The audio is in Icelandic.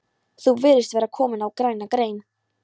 Þú virðist vera kominn á græna grein